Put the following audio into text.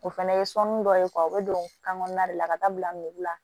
O fɛnɛ ye sɔ min dɔ ye u bɛ don kan kɔnɔna de la ka taa bila la